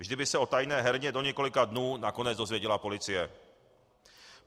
Vždy by se o tajné herně do několika dnů nakonec dozvěděla policie.